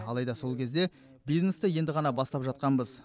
алайда сол кезде бизнесті енді ғана бастап жатқанбыз